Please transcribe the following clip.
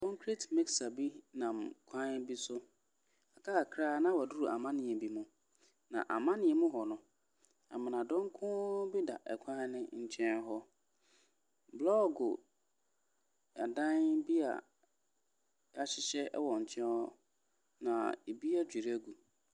Concrete mixer bi nam kwan bi so. Aka kakra na waduru amaneɛ bi mu. Na amaneɛ mu hɔ no, amena donkoooo bi da kwan no nkyɛn hɔ. Bolɔɔgo dan bi a wɔahyehyɛ wɔ nkyɛn hɔ, na ɛbi adwiri agu.